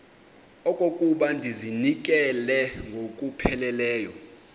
okokuba ndizinikele ngokupheleleyo